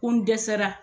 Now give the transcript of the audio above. Ko n dɛsɛra